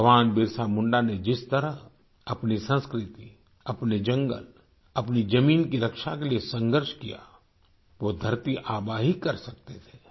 भगवान बिरसा मुंडा ने जिस तरह अपनी संस्कृति अपने जंगल अपनी जमीन की रक्षा के लिय संघर्ष किया वो धरती आबा ही कर सकते थे